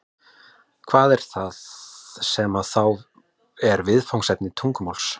hvað er það sem þá er viðfangsefni tungumálsins